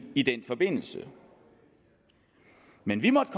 i den forbindelse men vi måtte